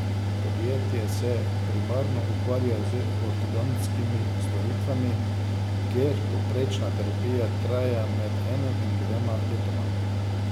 Podjetje se primarno ukvarja z ortodontskimi storitvami, kjer povprečna terapija traja med enim in dvema letoma.